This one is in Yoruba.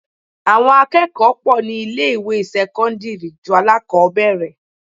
Àwọn akẹ́kọ̀ọ́ pọ̀ ní ilé ìwé sẹ́cọ́ndírì ju alákọbẹ̀rẹ̀.